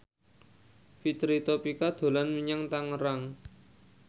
Fitri Tropika dolan menyang Tangerang